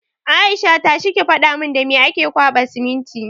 Aisha! tashi ki faɗa mun da me ake kwaɓa siminti!